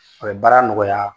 A bɛ baara nɔgɔya